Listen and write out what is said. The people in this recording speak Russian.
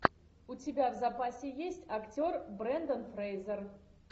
у тебя в запасе есть актер брендан фрейзер